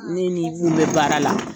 Ne ni mun bɛ baara la.